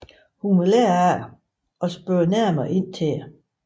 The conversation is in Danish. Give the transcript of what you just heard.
Hun vil lære af det og spørger nærmere ind til det